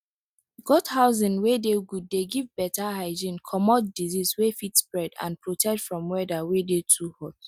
goat housing wey dey good dey give better hygiene comot disease wey fit spread and protect from weather wey dey too hot